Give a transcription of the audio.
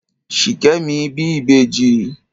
Ṣìkẹ́mi bí ìbẹjì.